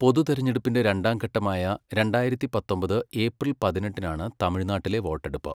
പൊതുതിരഞ്ഞെടുപ്പിന്റെ രണ്ടാംഘട്ടമായ രണ്ടായിരത്തി പത്തൊമ്പത് ഏപ്രിൽ പതിനെട്ടിനാണ് തമിഴ്നാട്ടിലെ വോട്ടെടുപ്പ്.